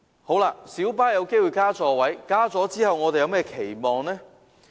在小巴增加座位後，我們有何期望呢？